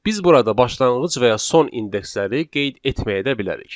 Biz burada başlanğıc və ya son indeksləri qeyd etməyə də bilərik.